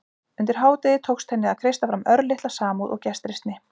Undir hádegið tókst henni að kreista fram örlitla samúð og gestrisni.